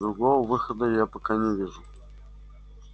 другого выхода я пока не вижу